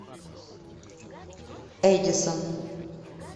эдисон